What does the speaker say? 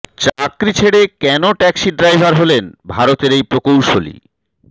চাকরি ছেড়ে কেন ট্যাক্সি ড্রাইভার হলেন ভারতের এই প্রকৌশলী